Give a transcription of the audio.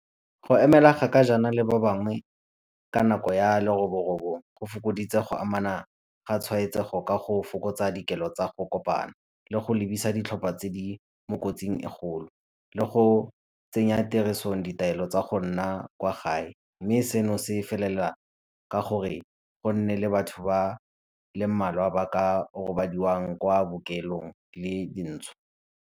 Go emela kgaka jaana le ba bangwe ka nako ya leroborobo go fokoditse go amana ga tshwaetsego ka go fokotsa dikelo tsa go kopana le go lebisa ditlhopha tse di mo kotsing e kgolo le go tsenya tirisong ditaelo tsa go nna kwa gae mme seno se felela ka gore go nne le batho ba le mmalwa ba ka robadiwang kwa bookelong le .